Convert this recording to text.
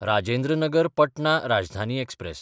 Rajendra Nagar Patna Rajdhani express